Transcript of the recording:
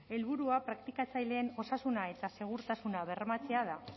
helburua praktikatzaileen osasuna eta segurtasuna bermatzea da